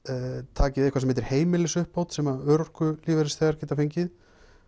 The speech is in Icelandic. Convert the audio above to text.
takið eitthvað sem heitir heimilisuppbót sem örorkulífeyrisþegar geta fengið